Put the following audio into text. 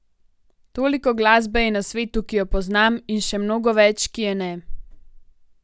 Toliko glasbe je na svetu, ki jo poznam, in še mnogo več, ki je ne.